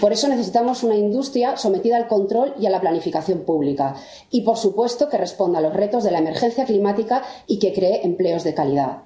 Por eso, necesitamos una industria sometida al control y a la planificación pública y, por supuesto, que responda a los retos de la emergencia climática y que cree empleos de calidad.